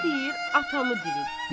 Biri deyir atamı dirilt.